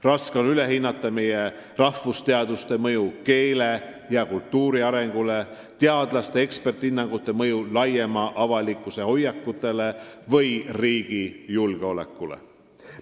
Raske on üle hinnata meie rahvusteaduste mõju keele ja kultuuri arengule, teadlaste eksperdihinnangute mõju laiema avalikkuse hoiakutele või riigi julgeolekule.